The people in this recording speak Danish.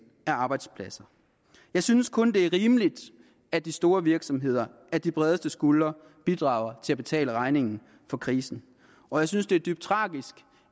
af arbejdspladser jeg synes kun det er rimeligt at de store virksomheder at de bredeste skuldre bidrager til at betale regningen for krisen og jeg synes det er dybt tragisk